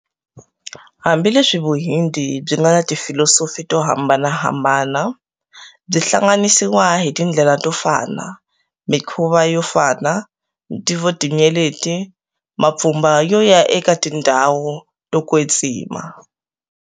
Hambileswi vuhindi byi ngana tifilosofi to hambanahambana, byi hlanganisiwa hi tindlela to fana, minkhuvo yo fana, ntivo tinyeleti, mapfumba yo ya eka tindhawu to kwetsima.